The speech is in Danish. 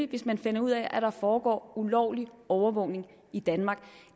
hvis man finder ud af at der foregår ulovlig overvågning i danmark